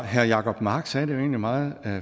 herre jacob mark sagde det jo egentlig meget